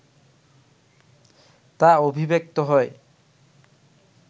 তা অভিব্যক্ত হয়